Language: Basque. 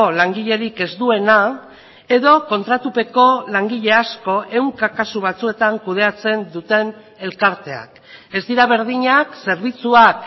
langilerik ez duena edo kontratupeko langile asko ehunka kasu batzuetan kudeatzen duten elkarteak ez dira berdinak zerbitzuak